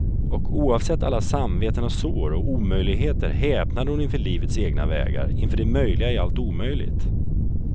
Och oavsett alla samveten och sår och omöjligheter häpnade hon inför livets egna vägar, inför det möjliga i allt omöjligt.